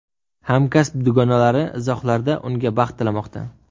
Hamkasb dugonalari izohlarda unga baxt tilamoqda.